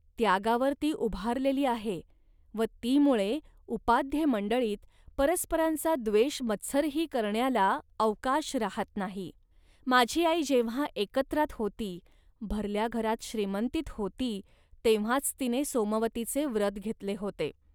त्यागावर ती उभारलेली आहे व तीमुळे उपाध्येमंडळींत परस्परांचा द्वेषमत्सरही करण्याला अवकाश राहात नाही. माझी आई जेव्हा एकत्रात होती, भरल्या घरात श्रीमंतीत होती, तेव्हाच तिने सोमवतीचे व्रत घेतले होते